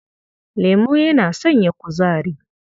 Lemo yana sanya kuzari.